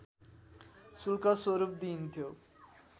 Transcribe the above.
शुल्क स्वरूप दिइन्थ्यो